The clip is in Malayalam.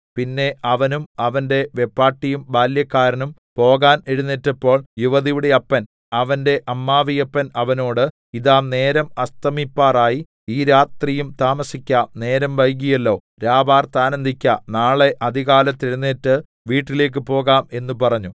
പിന്നെ അവനും അവന്റെ വെപ്പാട്ടിയും ബാല്യക്കാരനും പോകാൻ എഴുന്നേറ്റപ്പോൾ യുവതിയുടെ അപ്പൻ അവന്റെ അമ്മാവിയപ്പൻ അവനോട് ഇതാ നേരം അസ്തമിപ്പാറായി ഈ രാത്രിയും താമസിക്ക നേരം വൈകിയല്ലോ രാപാർത്ത് ആനന്ദിക്ക നാളെ അതികാലത്ത് എഴുന്നേറ്റ് വീട്ടിലേക്ക് പോകാം എന്ന് പറഞ്ഞു